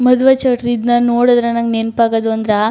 ಮದುವೆ ಚೌಲ್ಟ್ರಿ ಇದನ್ನ ನೋಡಿದ್ರೆ ನಂಗೆ ನೆನಪಾಗೋದು ಅಂದ್ರ.